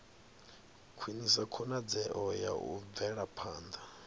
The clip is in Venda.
khwinisa khonadzeo ya u bvelaphanda